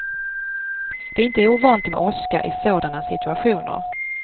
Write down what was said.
Det är inte ovanligt med åska i sådana situationer.